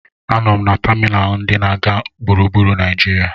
A nọ m na tamịnalụ ndị na-aga gburugburu Naijiria.